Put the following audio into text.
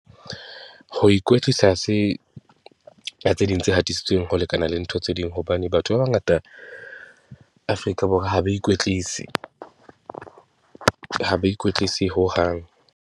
Ho ikwetlisa ha se tse ding tse hatisitsweng ho lekana le ntho tse ding, hobane batho ba bangata Afrika Borwa ha ba ikwetlise, ha ba ikwetlise hohang.